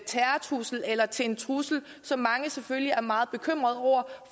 terrortrussel eller til en trussel som mange selvfølgelig er meget bekymret over